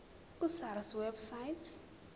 ku sars website